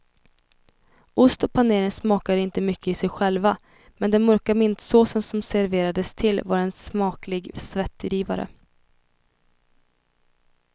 Ost och panering smakade inte mycket i sig själva, men den mörka mintsåsen som serverades till var en smaklig svettdrivare.